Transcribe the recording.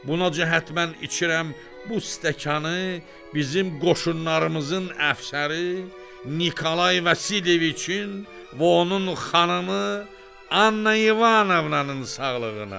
Buna cəhətmən içirəm bu stəkanı, bizim qoşunlarımızın əfsəri Nikolay Vasileviçin və onun xanımı Anna İvanovanın sağlığına.